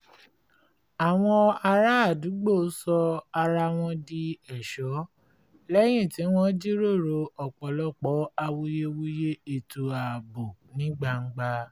àwọn ará àdúgbò sọ ara wọn di ẹ̀ṣọ́ lẹ́yìn tí wọ́n jíròrò ọ̀pọ̀lọpọ̀ awuyewuye ètò ààbò ní gbangba